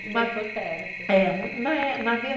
Sempre tem que por perto.